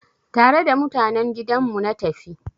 Tare da mutanen gidan mu na tafi.